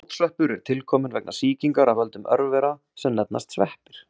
Fótsveppur er tilkominn vegna sýkingar af völdum örvera sem nefnast sveppir.